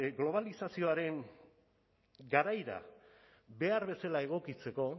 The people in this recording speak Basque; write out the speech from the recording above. globalizazioaren garaira behar bezala egokitzeko